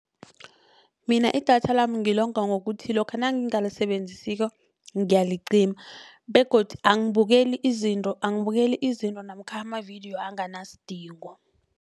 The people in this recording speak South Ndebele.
Mina idatha lami ngilonga ngokuthi lokha nangingalisebenzisako ngiyalicima begodu angibukeli izinto angabukeli izinto namkha amavidiyo anganasidingo.